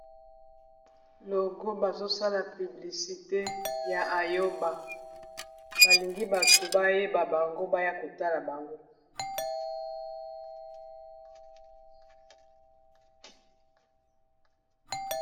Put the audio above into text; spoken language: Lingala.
logo bazosala piblisite ya ayoba balingi bato bayeba bango baya kotala bango